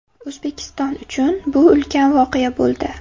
O‘zbekiston uchun bu ulkan voqea bo‘ldi.